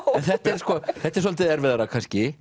en þetta er svolítið erfiðara kannski